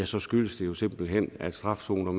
så skyldes det jo simpelt hen at strafzoner